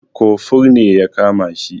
Kofur ne ya kama shi.